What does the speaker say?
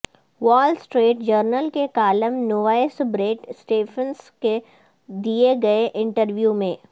وال Street Journal کے column نویس بریٹ اسٹیفنس کو دیے گئے انٹرویو میں